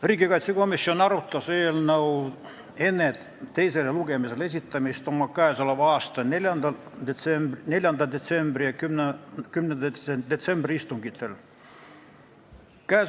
Riigikaitsekomisjon arutas eelnõu enne teisele lugemisele esitamist oma 4. detsembri ja 10. detsembri istungil.